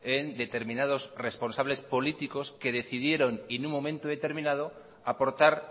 en determinados responsables políticos que decidieron en un momento determinado aportar